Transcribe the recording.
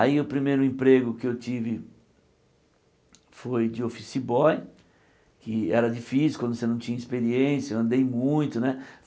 Aí o primeiro emprego que eu tive foi de office boy, que era difícil quando você não tinha experiência, andei muito né.